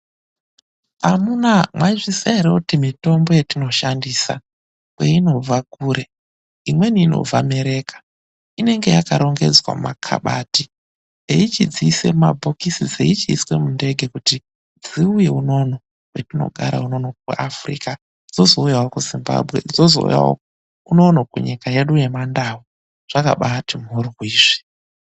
Amunaa mwaizviziya ere kuti mitombo yetinoshandisa kweinobva kure? Imweni inobva Mereka, inenge yakarongedzwa mumakhabati eichidziise mumabhokisi dzeichiiswe mundege kuti dziuye unono kwetinogara unono kuAfrica, dzozouyawo kuZimbabwe, dzozouyawo unono kunyika yedu yemaNdau. Zvakabaati mhoryo izvi.